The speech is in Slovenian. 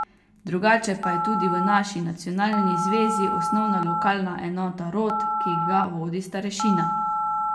Drugače pa je tudi v naši nacionalni zvezi osnovna lokalna enota rod, ki ga vodi starešina.